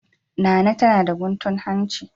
Nana tana da guntun hanci.